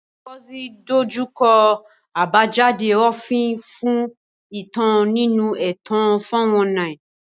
Ngozi dojú kọ àbájáde òfin fún ẹ̀tàn nínú ẹ̀tàn 419.